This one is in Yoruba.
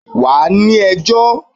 wa ni ẹjọ!